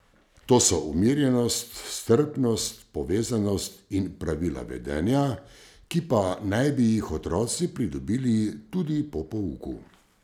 To so umirjenost, strpnost, povezanost in pravila vedenja, ki pa naj bi jih otroci pridobili tudi po pouku.